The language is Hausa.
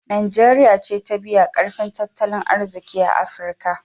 Najeriya ce ta biyu a ƙarfin tattalin arziƙi a Afirka.